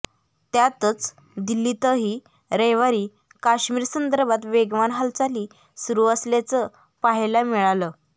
त्यातच दिल्लीतही रविवारी काश्मीर संदर्भात वेगवान हालचाली सुरु असल्याचं पाहायला मिळालं